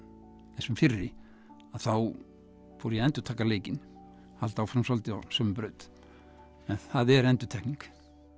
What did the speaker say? þessum fyrri að þá fór ég að endurtaka leikinn halda áfram svolítið á sömu braut en það er endurtekning